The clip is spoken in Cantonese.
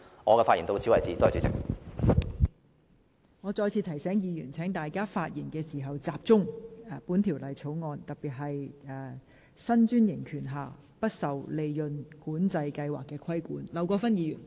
我再次提醒議員，在發言時應集中討論這項議案的議題，即九巴的新專營權不受"利潤管制計劃"規限。